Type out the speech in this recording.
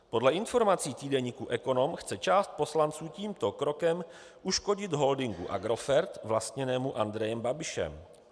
Podle informací týdeníku Ekonom chce část poslanců tímto krokem uškodit holdingu Agrofert vlastněnému Andrejem Babišem.